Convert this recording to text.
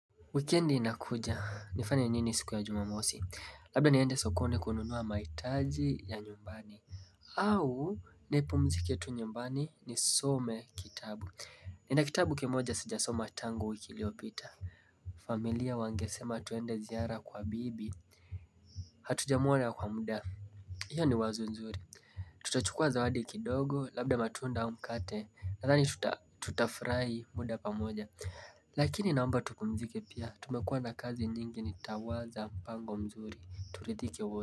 Wikendi inakuja nifanye nini siku ya jumamosi labda niende sokoni kununuwa mahitaji ya nyumbani au nipumzike tu nyumbani nisome kitabu nina kitabu kimoja sijasoma tangu wiki iliopita familia wangesema tuende ziara kwa bibi Hatujamwona kwa muda hiyo ni wazo nzuri tutachukua zawadi kidogo labda matunda au mkate nadhani tutafurai muda pamoja lakini naomba tupumzike pia tumekua na kazi nyingi nitawaza mpango mzuri turidhike wote.